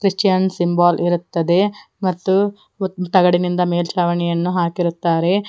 Christian symbol ಇರುತ್ತದೆ ಮತ್ತು ತಗಡಿನಿಂದ ಮೇಲ್ಚಾವಣಿಯನ್ನು ಹಾಕಿರುತ್ತಾರೆ.